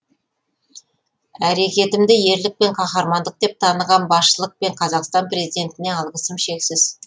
әрекетімді ерлік пен қаһармандық деп таныған басшылық пен қазақстан президентіне алғысым шексіз